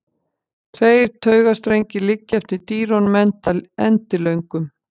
Tveir taugastrengir liggja eftir dýrunum endilöngum.